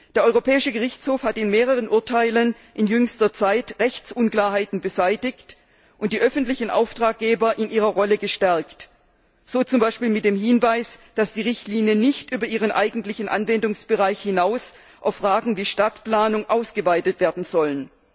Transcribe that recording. Der Europäische Gerichtshof hat in mehreren Urteilen in jüngster Zeit Rechtsunklarheiten beseitigt und die öffentlichen Auftraggeber in ihrer Rolle gestärkt, so zum Beispiel mit dem Hinweis, dass die Richtlinien nicht über ihren eigentlichen Anwendungsbereich hinaus auf Fragen wie Stadtplanung ausgeweitet werden sollen.